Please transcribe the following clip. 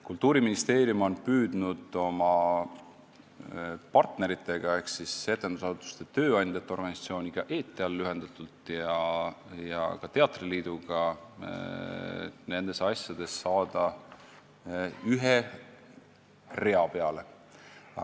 Kultuuriministeerium on püüdnud oma partneritega ehk siis etendusasutustest tööandjate organisatsiooniga – lühendatult EETEAL – ja ka teatriliiduga nendes asjades ühe rea peale saada.